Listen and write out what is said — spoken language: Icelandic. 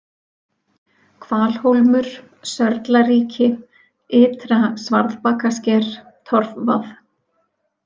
Hvalhólmur, Sörlaríki, Ytra-Svarðbakasker, Torfvað